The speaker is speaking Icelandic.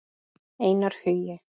Einar Hugi.